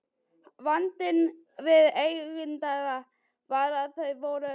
Vandinn við Englendinga var að þeir voru